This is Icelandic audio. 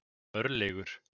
Örlygur